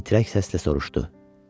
Titrək səslə soruşdu: